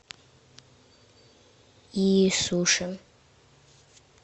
и суши